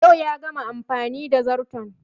Yau ya gama amfani da zarton